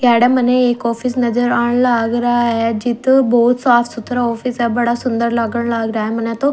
याडे मन्ने एक ऑफिस नज़र आण लाग रया ह जित बहोत साफ सुथरा ऑफिस ह बड़ा सुन्दर लागण लाग रया ह मन्ने तो--